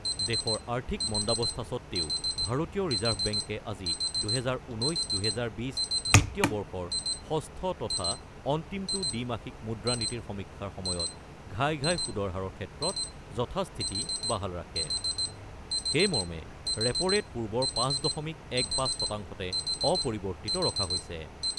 দেশৰ আৰ্থিক মণ্ডাৱস্থা সত্ত্বেও ভাৰতীয় ৰিজাৰ্ভ বেংকে আজি ২০১৯-২০২০ বিত্তীয় বৰ্ষৰ ষষ্ঠ তথা অন্তিমটো দ্বি-মাসিক মুদ্ৰানীতিৰ সমীক্ষাৰ সময়ত ঘাই ঘাই সুদৰ হাৰৰ ক্ষেত্ৰত যথাস্থিতি বাহাল ৰাখে৷ সেইমৰ্মে ৰেপৰেট পূৰ্বৰ ৫ দশমিক ১-৫ শতাংশতে অপৰিৱৰ্তিত ৰখা হৈছে।